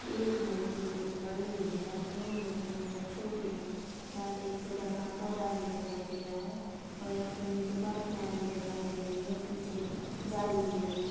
एक मूर्ति कुछ बड़ी है दो मूर्ति बहोत छोटी है यहाँ पे एक छोटा सा पौधा भी दिखाई दे रहा है और यहाँ पे नीचे पत्तियां भी दिखाई दे रही है पीछे जाली भी लगी।